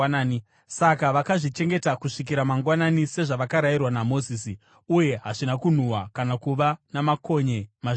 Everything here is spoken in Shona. Saka vakazvichengeta kusvikira mangwanani, sezvavakarayirwa naMozisi, uye hazvina kunhuhwa kana kuva namakonye mazviri.